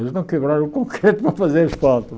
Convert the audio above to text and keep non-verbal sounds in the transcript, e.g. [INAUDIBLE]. Eles não quebraram o [LAUGHS] concreto para fazer asfalto.